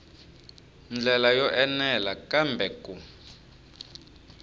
ndlela yo enela kambe ku